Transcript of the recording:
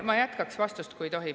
Ma jätkaks vastust, kui tohib.